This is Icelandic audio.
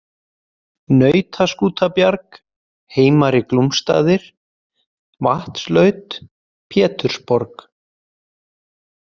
Nautaskútabjarg, Heimari-Glúmsstaðir, Vatnslaut, Pétursborg